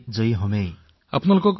এই যুদ্ধত আমি জয়ী হম